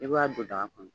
I b'a don daga kɔnɔ